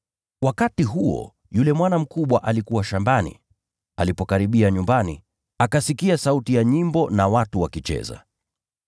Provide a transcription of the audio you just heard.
“Wakati huo, yule mwana mkubwa alikuwa shambani. Alipokaribia nyumbani, akasikia sauti ya nyimbo na watu wakicheza.